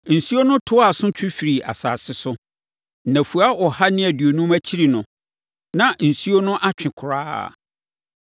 Nsuo no toaa so twe firii asase so. Nnafua ɔha ne aduonum akyiri no, na nsuo no atwe koraa.